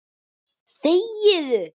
Eða til